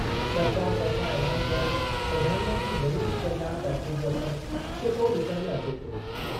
सरकार तर्फ़ां ऐलान कयल प्रधानमंत्री गरीब कल्याण पैकेज जो असरु चिटो डि॒सण में अचे पियो।